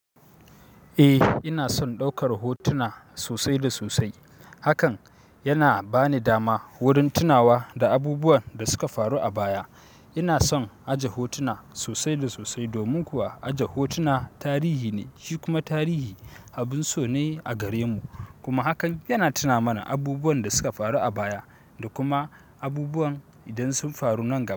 Eh, ina son ɗaukar hotuna sosai da sosai. Hakan yana ba ni dama wurin tunawa da abubuwan da suka faru a baya. Ina son aje hotuna sosai da sosai, domin kuwa aje hotuna tarihi ne, shi kuma tarihi abun so ne a gare mu. Kuma hakan yana tuna mana abubuwan da suka faru a baya da kuma abubuwan idan sun faru nan gaba.